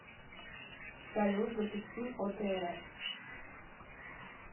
салют запусти отр